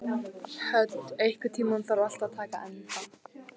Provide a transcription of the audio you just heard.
Hödd, einhvern tímann þarf allt að taka enda.